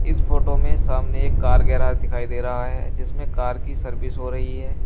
इस फोटो में सामने एक कार गैराज दिखाई दे रहा है जिसमें कार की सर्विस हो रही है।